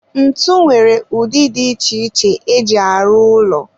ntu nwere ụdị dị iche iche eji arụ ụlọ